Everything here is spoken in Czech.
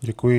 Děkuji.